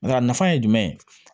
Nka a nafa ye jumɛn ye